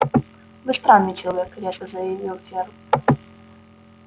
вы странный человек резко заявил фер